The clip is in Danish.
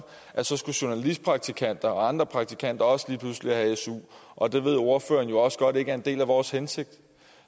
at så skulle journalistpraktikanter og andre praktikanter også lige pludselig have su og det ved ordføreren også godt ikke er en del af vores hensigt